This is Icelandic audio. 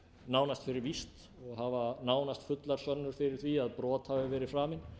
nánast fyrir víst og hafa fást fullar sönnur fyrir því að brot hafi verið framin